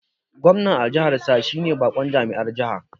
Gwamna a jihar sa shine bakon jami'ar jiha